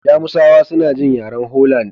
Jamusawa suna jin yaren Holland.